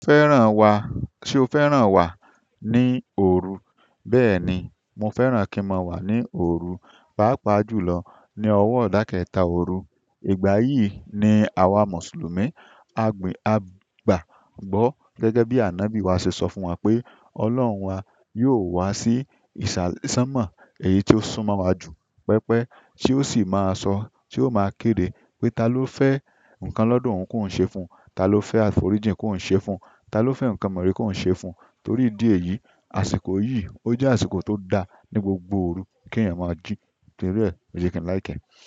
Fẹ́ràn wa, ṣe o fẹ́ràn wà ní òru? Bẹ́ẹ̀ni, mo fẹ́ràn kí n máa wà ní òru, pàápàá jùlọ ní ọwọ́ idàkẹta òru. Ìgbà yi ni awa mùsùlùmí agbagbo gẹ́gẹ́ bi anobi wa se so fún wa pe ọlọ́run wa yo wa si isa sanmo èyí ti ó sún mọ́ wa jù pẹpẹ, tí ó sì máa sọ, tí ó máa kéde pé ta ló fẹ́ nǹkan lọ́dọ oún kòún ṣe fún, ta ló fẹ́ àforíjì kòún ṣe fún, ta ló fẹ́ nǹkan mere kòún ṣe fún. Torí ìdí èyí, àsìkò yìí ó jẹ́ àsìkò tó da ní gbogbo òru kí èèyàn máa jí. Torí e, lo je ki n like e.